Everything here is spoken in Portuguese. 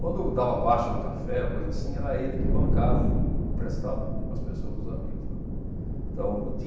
Quando dava baixa do café ou coisa assim, era ele que bancava, emprestava para as pessoas, para os amigos lá. Então